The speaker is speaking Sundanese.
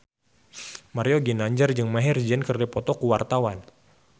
Mario Ginanjar jeung Maher Zein keur dipoto ku wartawan